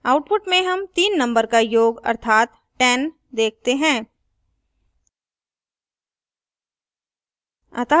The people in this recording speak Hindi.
output में sum तीन number का योग अर्थात 10 देखते हैं